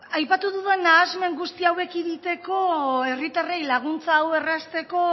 aipatu dudan nahasmen guzti hau ekiditeko herritarrei laguntza hau errazteko